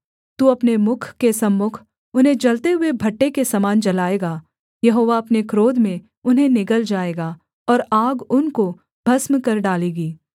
तू अपने मुख के सम्मुख उन्हें जलते हुए भट्ठे के समान जलाएगा यहोवा अपने क्रोध में उन्हें निगल जाएगा और आग उनको भस्म कर डालेगी